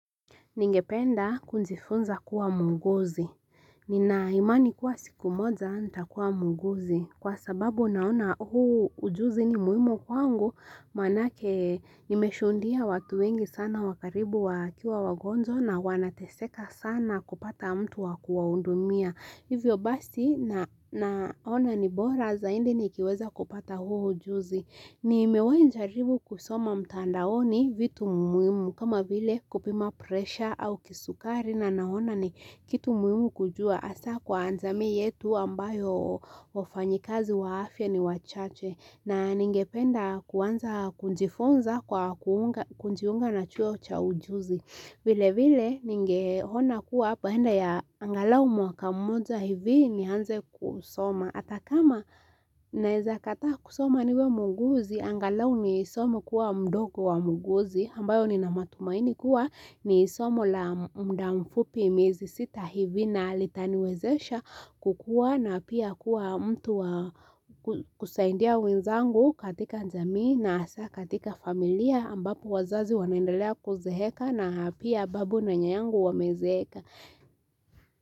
Ningependa kujifunza kuwa muuguzi. Nina imani kuwa siku moja, nitakuwa muuguzi. Kwa sababu naona huu ujuzi ni muhimu kwangu, maanake nimeshuhudia watu wengi sana wa karibu wakiwa wagonjwa na wanateseka sana kupata mtu wa kuwahudumia. Hivyo basi naona ni bora zaidi nikiweza kupata huu ujuzi. Nimewai jaribu kusoma mtandaoni vitu muhimu kama vile kupima presha au kisukari na naona ni kitu muhimu kujua. Hasa kwa jamii yetu ambayo wafanyikazi wa afya ni wachache. Na ningependa kuanza kujifunza kwa kujiunga na chuo cha ujuzi. Vile vile ningeona kuwa baada ya angalau mwaka mmoja hivi nianze kusoma. Atakama naezakataa kusoma niwe muuguzi, angalau nisome kuwa mdogo wa muuguzi. Ambayo nina matumaini kuwa ni somo la muda mfupi miezi sita hivi na litaniwezesha kukua na pia kuwa mtu kusaidia wenzangu katika jamii na hasa katika familia. Ambapo wazazi wanaendelea kuzeeka na pia babu na nyanyangu wamezeeka.